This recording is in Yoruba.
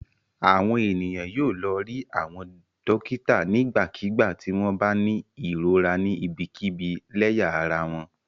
Àwọn ènìyàn yóò lọ rí àwọn dọ́kítá nígbàkigbà tí wọ́n bá ní ìrora ni ibikíbi lẹ́yà ara wọn.